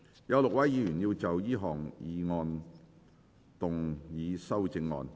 有6位議員要就這項議案動議修正案。